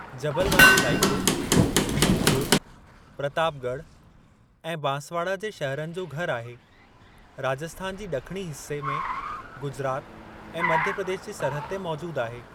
जबल वारो इलाइक़ो, धींगपूर, प्रतापॻढ़ ऐं बांसवाड़ा जे शहरनि जो घरु आहे, राजस्थान जी ॾखणी हिस्से में, गुजरात ऐं मध्य प्रदेश जी सरहद ते मौजूद आहे।